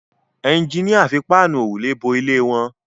Ẹjiníà fi Páànù òrùlé bo ilé wọn